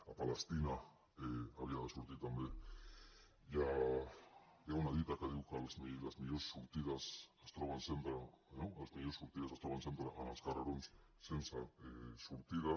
a palestina havia de sortir també hi ha una dita que diu que les millors sortides es troben sempre en els carrerons sense sortida